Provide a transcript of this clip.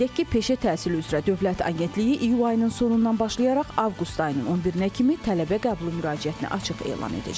Qeyd edək ki, peşə təhsili üzrə Dövlət Agentliyi iyul ayının sonundan başlayaraq avqust ayının 11-nə kimi tələbə qəbulu müraciətinə açıq elan edəcək.